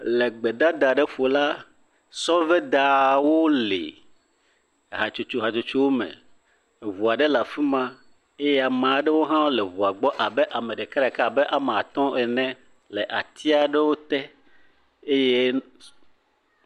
Le gbedada aɖe ƒo la, sɔvedawo le hatsotso hatsotsowo me. Ŋu aɖewo le afi ma eye ame aɖewo hã le ŋua gbɔ abe ame ɖeka, ɖeka ame atɔ̃ ene le ati aɖewo te eye...